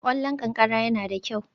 Ƙwallon ƙanƙara yana da kyau